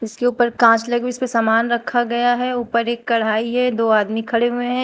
इसके ऊपर कांच लगी हुई इस पे सामान रखा गया है ऊपर एक कड़ाही है दो आदमी खड़े हुए हैं।